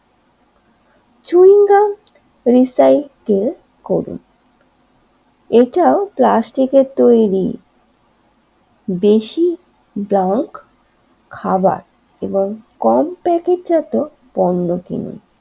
Recycle করে এটাও প্লাস্টিকের তৈরি বেশি ড্রাগ খাওয়ার এবং কম প্যাকেটজাত পণ্য কিনে।